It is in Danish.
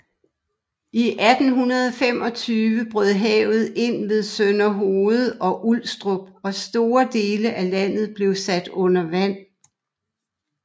I 1825 brød havet ind ved Sønderhoved og Ulstrup og store dele af landet blev sat under vand